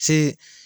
Fe